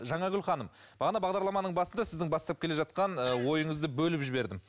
жаңагүл ханым бағана бағдарламаның басында сіздің бастап келе жатқан ы ойыңызды бөліп жібердім